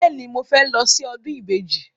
Bẹ́ẹ̀ni, mo fẹ́ lọ sí ọdún ìbejì.